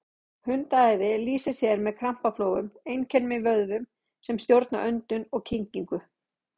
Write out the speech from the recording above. Hundaæði lýsir sér með krampaflogum, einkum í vöðvum sem stjórna öndun og kyngingu.